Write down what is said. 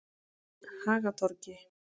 Hagatorgi